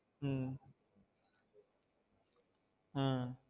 உம் உம்